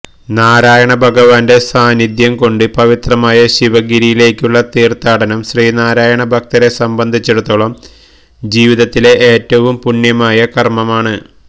നാരായണ ഭഗവാന്റെ സാന്നിധ്യം കൊണ്ട് പവിത്രമായ ശിവഗിരിയിലെക്കുള്ള തീര്ത്ഥാടനം ശ്രീനാരായണ ഭക്തരെ സംബന്ധിച്ചിടത്തോളം ജീവിതത്തിലെ ഏറ്റവം പുണ്യമായ കര്മം ആണ്